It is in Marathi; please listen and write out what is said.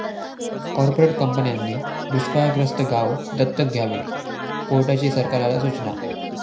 कॉर्पोरेट कंपन्यांनी दुष्काळग्रस्त गावं दत्तक घ्यावी, कोर्टाची सरकारला सुचना